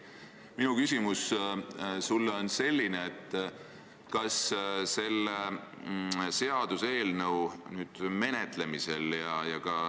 Minu küsimus sulle on selline.